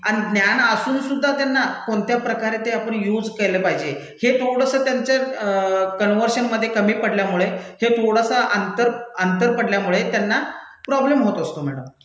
अन् ज्ञान असूनसुद्धा त्यांना कोणत्या प्रकारे ते आपण युज केलं पाहिजे? हे थोडसं त्यांच्या कनर्व्हशनमधे कमी पडल्यामुळे हे थोडसं अंतर, अंतर पडल्यामुळे त्यांना प्रॉब्लेम होत असतो मैडम.